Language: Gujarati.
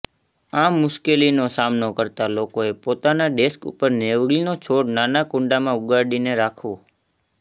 આ મુશ્કેલીનો સામનો કરતાં લોકોએ પોતાના ડેસ્ક ઉપર નેવળીનો છોડ નાના કુંડામાં ઉગાડીને રાખવો